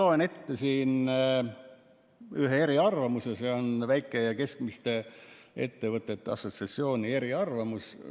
Ma loen ette ühe eriarvamuse, see on Väike‑ ja Keskmiste Ettevõtjate Assotsiatsiooni eriarvamus.